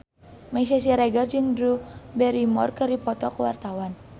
Meisya Siregar jeung Drew Barrymore keur dipoto ku wartawan